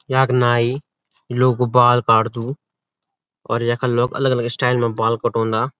यख नाई लोग कु बाल काटदू और यखा लोग अलग अलग स्टाइल मा बाल कटोंदा।